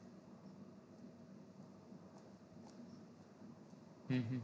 હમ હા